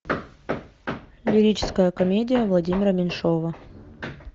лирическая комедия владимира меньшова